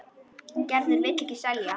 En Gerður vill ekki selja.